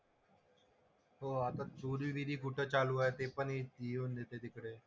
हो आता चोरीबिरी कुठं चालू आहे ते पण येऊन येते तिकडे.